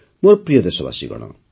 ମୋର ପ୍ରିୟ ଦେଶବାସୀଗଣ